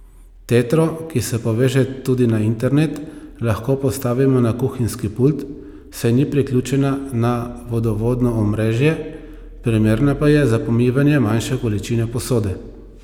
Tetro, ki se poveže tudi na internet, lahko postavimo na kuhinjski pult, saj ni priključena na vodovodno omrežje, primerna pa je za pomivanje manjše količine posode.